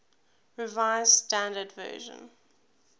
revised standard version